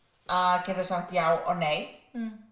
að geta sagt já og nei